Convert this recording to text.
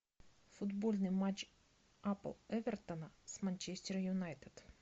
футбольный матч апл эвертона с манчестер юнайтед